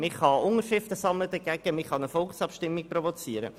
Man kann dagegen Unterschriften sammeln und eine Volksabstimmung provozieren.